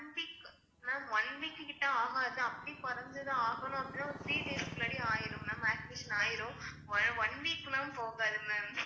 Ma'am one week கிட்ட ஆகாது அப்டி கொறஞ்சது ஆகணும் அப்படின்னா ஒரு three days க்கு முன்னாடியே ஆயிரும் ma'am activation ஆயிரும் one week லாம் போகாது ma'am